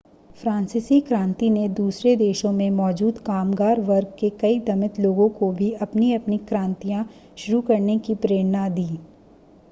फ़्रांसीसी क्रांति ने दूसरे देशों में मौजूद कामगार वर्ग के कई दमित लोगों को भी अपनी-अपनी क्रांतियां शुरू करने की प्रेरणा दी